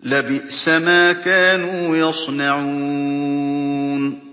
لَبِئْسَ مَا كَانُوا يَصْنَعُونَ